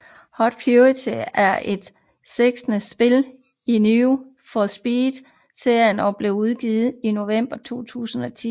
Hot Pursuit er det sekstende spil i Need for Speed serien og blev udgivet i November 2010